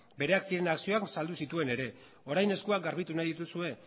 bereak ziren akzioak saldu zituen ere orain eskuak garbitu nahi dituzue